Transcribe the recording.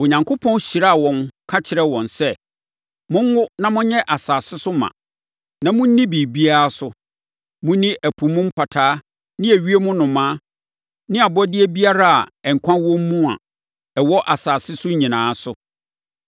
Onyankopɔn hyiraa wɔn, ka kyerɛɛ wɔn sɛ, “Monwo na monyɛ asase so ma, na monni biribiara so. Monni ɛpo mu mpataa ne ewiem nnomaa ne abɔdeɛ biara a, nkwa wɔ mu a, ɛwɔ asase so no nyinaa so.”